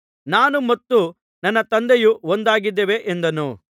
ನಾನೂ ಮತ್ತು ನನ್ನ ತಂದೆಯೂ ಒಂದಾಗಿದ್ದೇವೆ ಎಂದನು